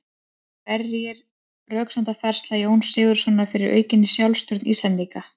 Hver var röksemdafærsla Jóns Sigurðssonar fyrir aukinni sjálfstjórn Íslendinga?